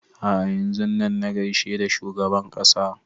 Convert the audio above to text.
A'a yanzun nan na gaishe da shugaban ƙasa